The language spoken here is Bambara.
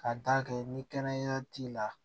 Ka d'a kan ni kɛnɛya t'i la